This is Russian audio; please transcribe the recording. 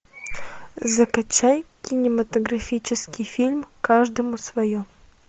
закачай кинематографический фильм каждому свое